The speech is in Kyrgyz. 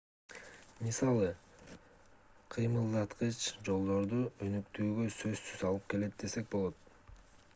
мисалы кыймылдаткыч жолдорду өнүктүүгө сөзсүз алып келет десек болот